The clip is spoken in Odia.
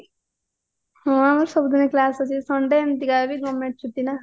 ହଁ ସବୁ ଦିନ class ଅଛି sunday ଏମିତିକା ବି government ଛୁଟି ନାଁ